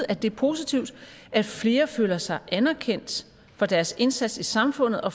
at det er positivt at flere føler sig anerkendt for deres indsats i samfundet og